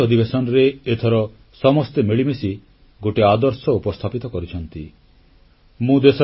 ମୌସୁମୀ ଅଧିବେଶନରେ ଏଥର ସମସ୍ତେ ମିଳିମିଶି ଗୋଟିଏ ଆଦର୍ଶ ଉପସ୍ଥାପିତ କରିଛନ୍ତି